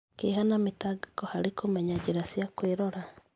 Kĩeha na mĩtangĩko harĩ kũmenya njĩra cia kwĩrora